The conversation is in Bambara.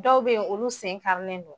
Dɔw be yen olu sen karilen don